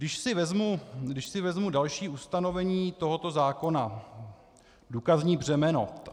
Když si vezmu další ustanovení tohoto zákona - důkazní břemeno.